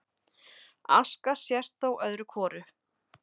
Aska sést þó öðru hvoru